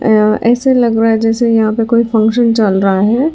ऐसे लग रहा है जैसे यहां पे कोई फंक्शन चल रहा है।